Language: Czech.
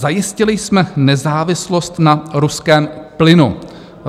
Zajistili jsme nezávislost na ruském plynu.